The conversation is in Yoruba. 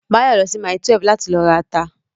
Báyọ̀ lọ sí mile 12 láti lọ ra ata